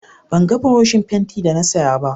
ban ga buroshin fenti da na saya ba